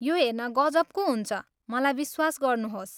यो हेर्न गजबको हुन्छ, मलाई विश्वास गर्नुहोस्।